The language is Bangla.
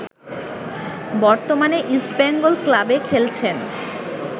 বর্তমানে ইস্টবেঙ্গল ক্লাবে খেলছেন